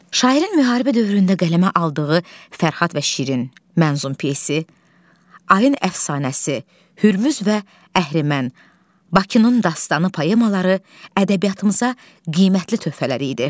Şairin müharibə dövründə qələmə aldığı Fərhad və Şirin, Mənzum pyes, Ayın əfsanəsi, Hürmüz və Əhrimən, Bakının dastanı poemaları ədəbiyyatımıza qiymətli töhfələr idi.